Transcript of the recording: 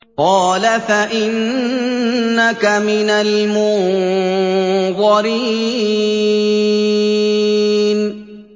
قَالَ فَإِنَّكَ مِنَ الْمُنظَرِينَ